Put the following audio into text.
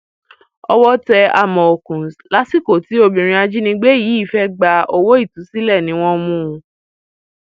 owó tẹ àmọọkùns lásìkò tí obìnrin ajínigbé yìí fẹẹ gba owó ìtúsílẹ ni wọn mú un